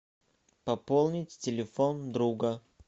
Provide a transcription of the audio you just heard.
пополнить телефон друга